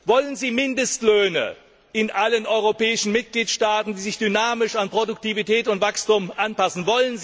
Wollen Sie Mindestlöhne in allen europäischen Mitgliedstaaten, die sich dynamisch an Produktivität und Wachstum anpassen?